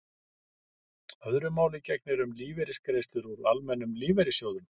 öðru máli gegnir um lífeyrisgreiðslur úr almennum lífeyrissjóðum